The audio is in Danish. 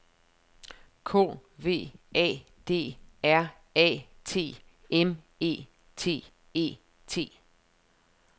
K V A D R A T M E T E T